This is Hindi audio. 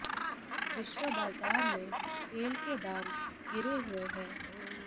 विश्व बाजार में तेल के दाम गिरे हुए हैं